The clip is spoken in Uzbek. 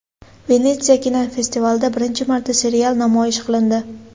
Venetsiya kinofestivalida birinchi marta serial namoyish qilindi.